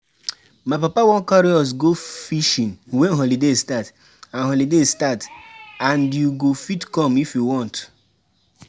My papa wan carry us go fishing wen holiday start and holiday start and you go fit come if you want